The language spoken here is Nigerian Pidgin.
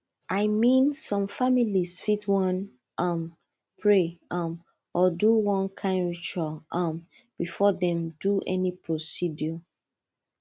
i mean some families fit wan um pray um or do one kind ritual um before dem do any procedure